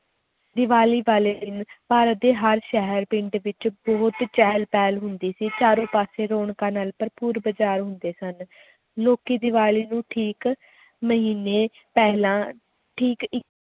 ਦੀਵਾਲੀ ਵਾਲੇ ਦਿਨ ਭਾਰਤ ਦੇ ਹਰ ਸ਼ਹਿਰ ਪਿੰਡ ਵਿੱਚ ਬਹੁਤ ਚਹਿਲ ਪਹਿਲ ਹੁੰਦੀ ਸੀ ਚਾਰੇ ਪਾਸੇ ਰੌਣਕਾਂ ਨਾਲ ਭਰਪੂਰ ਬਾਜ਼ਾਰ ਹੁੰਦੇ ਸਨ, ਲੋਕੀ ਦੀਵਾਲੀ ਨੂੰ ਠੀਕ ਮਹੀਨੇ ਪਹਿਲਾਂ ਠੀਕ ਇੱ~